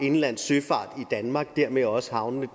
indlandssøfart i danmark dermed også havnene